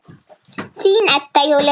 Þín, Edda Júlía.